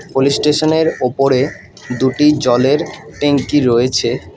Police স্টেশনের ওপরে দুটি জলের ট্যাঙ্কি রয়েছে।